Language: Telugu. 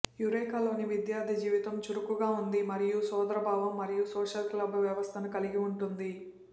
యురేకాలోని విద్యార్ధి జీవితం చురుకుగా ఉంది మరియు ఒక సోదరభావం మరియు సోషల్ క్లబ్ వ్యవస్థను కలిగి ఉంటుంది